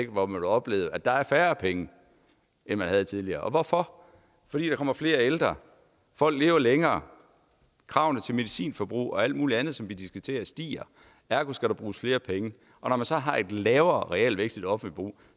hvor man vil opleve at der er færre penge end man havde tidligere og hvorfor fordi der kommer flere ældre folk lever længere og kravene til medicinforbrug og alt mulig andet som vi diskuterer stiger ergo skal der bruges flere penge og når man så har en lavere realvækst i det offentlige